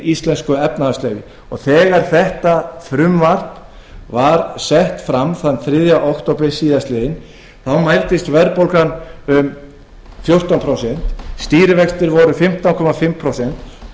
íslensku efnahagslífi þegar frumvarpið var lagt fram þriðja október mældist verðbólga um fjórtán prósent stýrivextir eru fimmtán og hálft prósent og